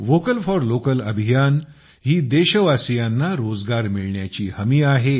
vocal for local अभियान ही देशवासियांना रोजगार मिळण्याची हमी आहे